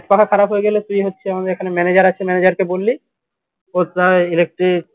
খারাপ হয়ে গেলে তুই হচ্ছে আমাদের এখানে manager আছে manager কে বললি ও প্রায় electric